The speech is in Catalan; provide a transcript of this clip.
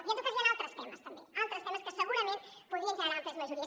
i en tot cas hi han altres temes també altres temes que segurament podrien generar àmplies majories